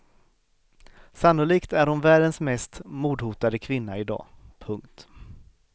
Sannolikt är hon världens mest mordhotade kvinna i dag. punkt